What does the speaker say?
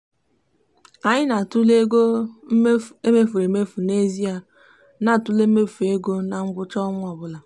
anyị na-atụle ego e mefuru emefu n'ezie na ntule mmefu ego na ngwụcha ọnwa ọbụla.